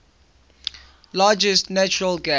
largest natural gas